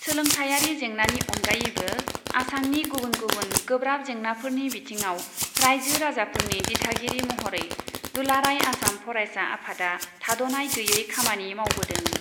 सोलोंथाइयारि जेंनानि अनगायैबो आसामनि गुबुन गुबुन गोब्राब जेंनाफोरनि बिथिङाव राइजो राजाफोरनि दिथागिरि महरै दुलाराइ आसाम फरायसा आफादा थाद'नाय गैयै खामानि मावबोदों।